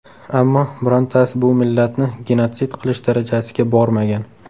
Ammo birontasi bu millatni genotsid qilish darajasiga bormagan.